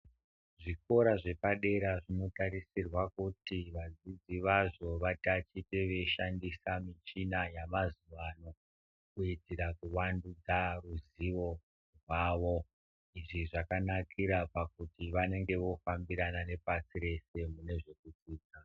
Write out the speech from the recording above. Zvikora zvepadera zvinotarisirwa kuti vadzidzi vazvo vatatiche veishandisa michina yamazuwa ano kuitira vandudzwa ruzivo rwavo. Izvi zvakanakira pakuti vanenge vofambirana nepashi rese mune zvekudzidza.